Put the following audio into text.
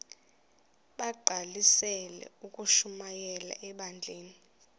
bagqalisele ukushumayela ebandleni